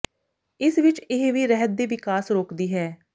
ਇਸ ਵਿਚ ਇਹ ਵੀ ਰਹਿਤ ਦੇ ਵਿਕਾਸ ਰੋਕਦੀ ਹੈ